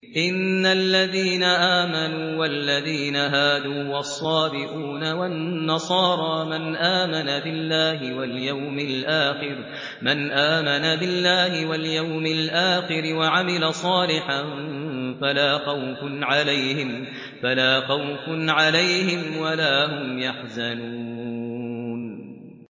إِنَّ الَّذِينَ آمَنُوا وَالَّذِينَ هَادُوا وَالصَّابِئُونَ وَالنَّصَارَىٰ مَنْ آمَنَ بِاللَّهِ وَالْيَوْمِ الْآخِرِ وَعَمِلَ صَالِحًا فَلَا خَوْفٌ عَلَيْهِمْ وَلَا هُمْ يَحْزَنُونَ